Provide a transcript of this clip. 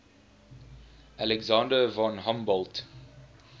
alexander von humboldt